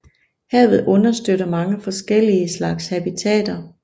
Havet understøtter mange forskellige slags habitater